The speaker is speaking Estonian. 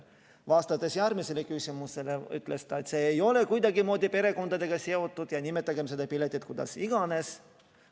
Vastates järgmisele küsimusele, ütles ta, et see ei ole kuidagimoodi perekondadega seotud ja nimetagem seda piletit kuidas iganes.